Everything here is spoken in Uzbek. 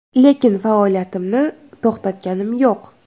Lekin faoliyatimni to‘xtatganim yo‘q.